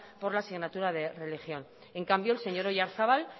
por la asignatura de religión en cambio el señor oyarzabal